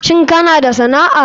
Shin kana da sana'a.